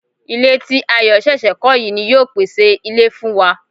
Ilé ti Ayọ̀ ṣẹ̀ṣẹ̀ kọ́ yìí ni yóò pèsè ilé fún wa